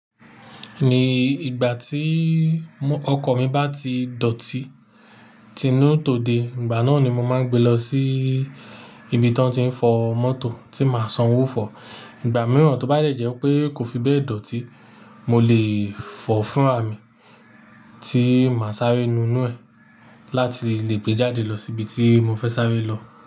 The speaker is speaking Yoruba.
Ní ìgbà tí ọkọ̀ mi bá ti dọ̀tí tínú tòde, ìgbà náà ni mo máa ń gbe lọ sí ibi tí wọ́n ti ń fọ mọ́tò tí màá san owó fọ̀. Ìgbà mìíràn tó bá lè jẹ́ pé kò fi bẹ́ẹ̀ dọ̀tí, mo lè fọ̀ fúnràmì tí màá sáré nu inú ẹ̀ láti lè gbé jáde lọ sí ibi tí mo fẹ́ sáré lọ.